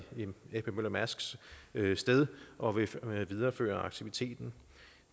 ap møller mærsk as sted og vil videreføre aktiviteten